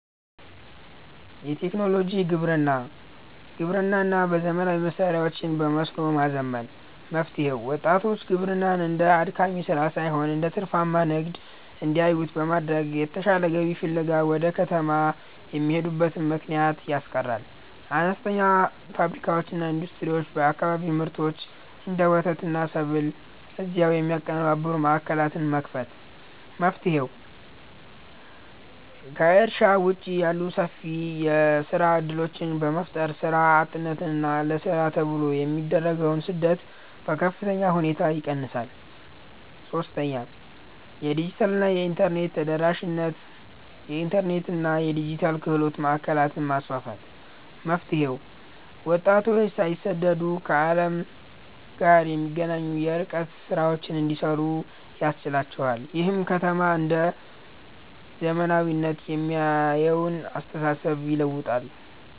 1. የቴክኖሎጂ ግብርና (Agri-Tech) ግብርናን በዘመናዊ መሣሪያዎችና በመስኖ ማዘመን። መፍትሔው፦ ወጣቶች ግብርናን እንደ አድካሚ ሥራ ሳይሆን እንደ ትርፋማ ንግድ እንዲያዩት በማድረግ፣ የተሻለ ገቢ ፍለጋ ወደ ከተማ የሚሄዱበትን ምክንያት ያስቀራል። 2. አነስተኛ ፋብሪካዎችና ኢንዱስትሪዎች የአካባቢውን ምርቶች (እንደ ወተትና ሰብል) እዚያው የሚያቀነባብሩ ማዕከላትን መክፈት። መፍትሔው፦ ከእርሻ ውጭ ያሉ ሰፊ የሥራ ዕድሎችን በመፍጠር፣ ሥራ አጥነትንና ለሥራ ተብሎ የሚደረግን ስደት በከፍተኛ ሁኔታ ይቀንሳል። 3. የዲጂታልና የኢንተርኔት ተደራሽነት የኢንተርኔትና የዲጂታል ክህሎት ማዕከላትን ማስፋፋት። መፍትሔው፦ ወጣቶች ሳይሰደዱ ከዓለም ጋር እንዲገናኙና የርቀት ሥራዎችን እንዲሠሩ ያስችላቸዋል። ይህም ከተማን ብቻ እንደ "ዘመናዊነት" የሚያየውን አስተሳሰብ ይለውጣል።